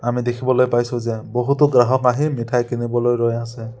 আমি দেখিবলৈ পাইছোঁ যে বহুতো গ্ৰাহক আহি মিঠাই কিনিবলৈ ৰৈ আছে।